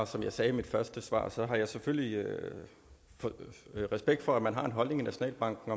som jeg sagde i mit første svar har jeg selvfølgelig respekt for at man har en holdning i nationalbanken